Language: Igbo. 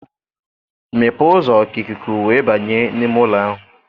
Mepee ụzọ ka ikuku wee banye n'ime ụlọ ahụ.